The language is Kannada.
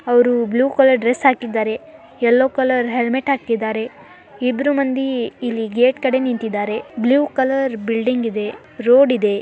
ಅವರು ಬ್ಲೂ ಕಲರ್ ಡ್ರೆಸ್ ಹಾಕಿದ್ದಾರೆ ಎಲ್ಲೋ ಕಲರ್ ಹೆಲ್ಮೆಟ್ ಹಾಕಿದ್ದಾರೆ ಇಬ್ರು ಮಂದಿ ಇಲ್ಲಿ ಗೇಟ್ ಕಡೆ ನಿಂತಿದ್ದಾರೆ ಬ್ಲೂ ಕಲರ್ ಬಿಲ್ಡಿಂಗ್ ಇದೆ ರೋಡ್ ಇದೆ.